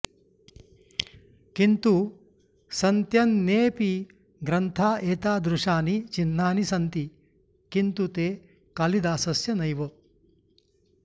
किन्तु सन्त्यन्येऽपि ग्रन्था एतादृशानि चिह्नानि सन्ति किन्तु ते कालिदासस्य नैव